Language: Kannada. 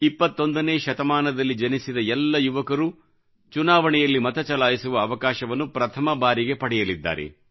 21 ನೇ ಶತಮಾನದಲ್ಲಿ ಜನಿಸಿದ ಎಲ್ಲ ಯುವಕರು ಚುನಾವಣೆಯಲ್ಲಿ ಮತ ಚಲಾಯಿಸುವ ಅವಕಾಶವನ್ನು ಪ್ರಥಮ ಬಾರಿಗೆ ಪಡೆಯಲಿದ್ದಾರೆ